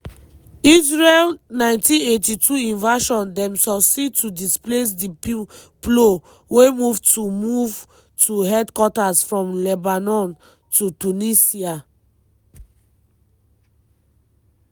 israel 1982 invasion dem succeed to displace di plo wey move to move to headquarters from lebanon to tunisia.